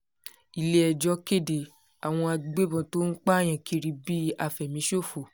ilé-ẹjọ́ kéde àwọn agbébọ̀n tó ń pààyàn kiri bíi àfẹ̀míṣòfò